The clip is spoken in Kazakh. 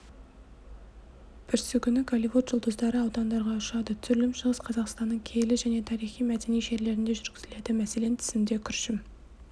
бүрсігүні голливуд жұлдыздары аудандарға ұшады түсірілім шығыс қазақстанның киелі және тарихи-мәдени жерлерінде жүргізіледі мәселен тізімде күршім